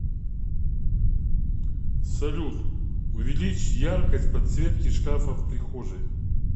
салют увеличь яркость подсветки шкафа в прихожей